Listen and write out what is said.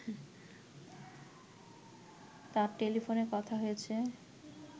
তার টেলিফোনে কথা হয়েছে